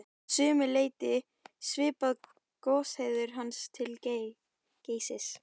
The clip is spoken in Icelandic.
Að sumu leyti svipar goshegðun hans til Geysis.